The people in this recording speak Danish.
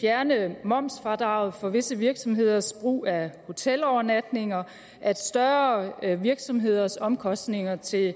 fjerne momsfradraget for visse virksomheders brug af hotelovernatninger at større virksomheders omkostninger til